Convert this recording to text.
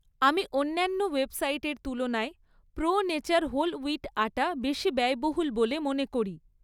আমি অন্যান্য ওয়েবসাইটের তুলনায় pro nature whole wheat atta বেশি ব্যয়বহুল বলে মনে করি